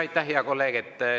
Aitäh, hea kolleeg!